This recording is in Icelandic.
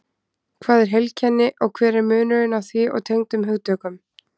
Hvað er heilkenni og hver er munurinn á því og tengdum hugtökum?